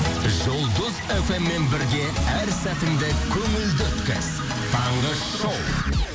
жұлдыз эф эм мен бірге әр сәтіңді көңілді өткіз таңғы шоу